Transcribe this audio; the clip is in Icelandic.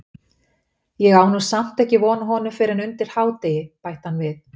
Ég á nú samt ekki von á honum fyrr en undir hádegi- bætti hann við.